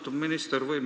Austatud minister!